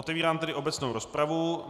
Otevírám tedy obecnou rozpravu.